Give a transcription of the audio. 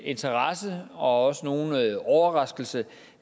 interesse og også nogen overraskelse